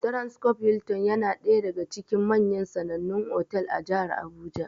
Transcob Hilton ya na ɗaya daga cikin manyan sanannan otal a jihar Abuja.